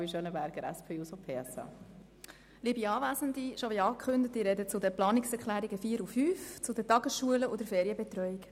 Wie bereits angekündigt spreche ich zu den Planungserklärungen 4 und 5, Tagesschulen und Ferienbetreuung.